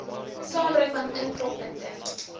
saambring want inproppunte